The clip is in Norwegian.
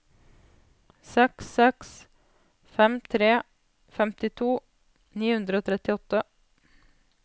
seks seks fem tre femtito ni hundre og trettiåtte